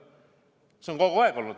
See on kogu aeg olnud.